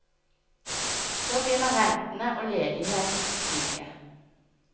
Så begynner rentene og ledigheten å stige.